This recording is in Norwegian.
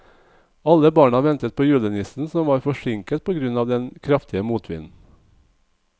Alle barna ventet på julenissen, som var forsinket på grunn av den kraftige motvinden.